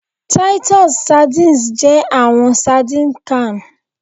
Titus sardines jẹ awọn sardines canned